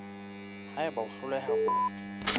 ha eba o hloleha ho